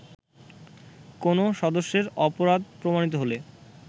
কোন সদস্যের অপরাধ প্রমাণিত হলে